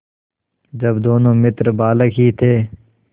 जब दोनों मित्र बालक ही थे